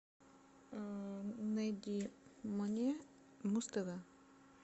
найди мне муз тв